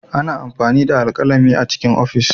Ana amfani da alkalami don rubutu A cikin ofis.